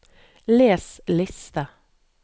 les liste